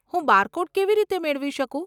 હું બારકોડ કેવી રીતે મેળવી શકું?